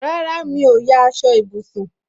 Rárá, mi ò ya aṣọ ìbùsùn